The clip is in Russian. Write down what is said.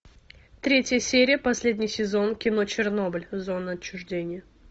третья серия последний сезон кино чернобыль зона отчуждения